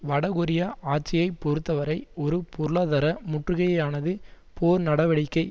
வடகொரியா ஆட்சியை பொறுத்தவரை ஒரு பொருளாதார முற்றுகையையானது போர் நடவடிக்கை